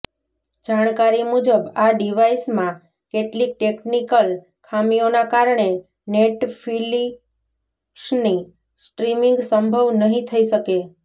જાણકારી મુજબ આ ડિવાઈસમાં કેટલીક ટેક્નિકલ ખામીઓના કારણે નેટફ્લિક્સની સ્ટ્રીમિંગ સંભવ નહીં થઈ શકે